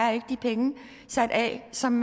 er de penge sat af som